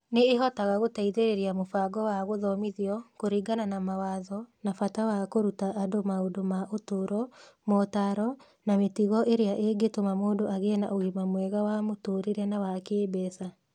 Nĩ ĩhotaga gũteithĩrĩria mũbango wa gũthomithio kũringana na mawatho na bata wa kũruta andũ maũndũ ma ũtũũro, motaaro, na mĩtugo ĩrĩa ĩngĩtũma mũndũ agĩe na ũgima mwega wa mũtũũrĩre na wa kĩĩmbeca.